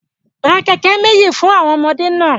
Ra keke meji fun awọn ọmọde naa